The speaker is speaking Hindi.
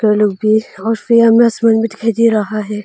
आसमान भी दिखाई दे रहा है।